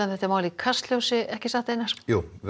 um þetta mál í Kastljósinu ekki satt jú við